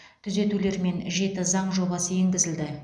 түзетулермен жеті заң жобасы енгізілді